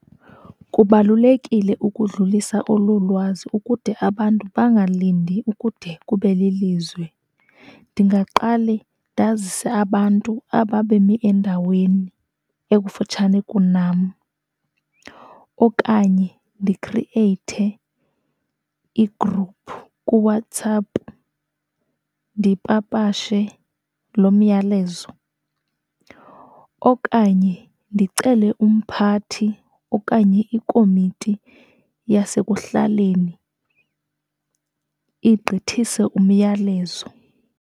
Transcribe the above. Kubalulekile ukudlulisa olo lwazi ukude abantu bangalindi ukude kube lilizwi. Ndingaqale ndazise abantu aba bemi endaweni ekufutshane kunam, okanye ndikhrieyithe igruphu kuWhatsApp ndipapashe lo myalezo, okanye ndicele umphathi okanye ikomiti yasekuhlaleni igqithise umyalezo.